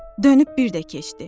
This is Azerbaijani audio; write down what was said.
Dönüb birdə keçdi.